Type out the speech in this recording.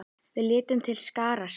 Við létum til skarar skríða.